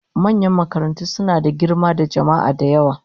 Manyan makarantu suna da girma da jama'a da yawa